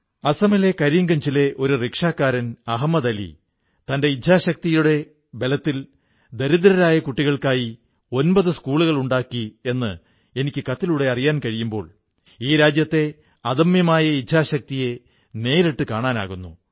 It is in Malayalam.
അസമിലെ കരീംഗഞ്ചിലെ ഒരു റിക്ഷാക്കാരൻ അഹമദ് അലി തന്റെ ഇച്ഛാശക്തിയുടെ ബലത്തിൽ ദരിദ്രരായ കുട്ടികൾക്കായി 9 സ്കൂളുകൾ ഉണ്ടാക്കി എന്ന് എനിക്ക് കത്തിലൂടെ അറിയാൻ കഴിയുമ്പോൾ ഈ രാജ്യത്തെ അദമ്യമായ ഇച്ഛാശക്തിയെ നേരിട്ടു കാണാനാകുന്നു